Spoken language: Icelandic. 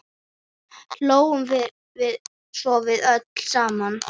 Hlógum svo að öllu saman.